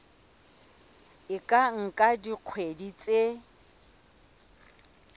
e ka nka dikgwedi tse